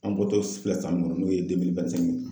An bɔtɔ filɛ san min kɔnɔ n'o ye ye